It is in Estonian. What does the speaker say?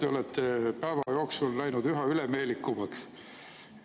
Te olete päeva jooksul läinud üha ülemeelikumaks.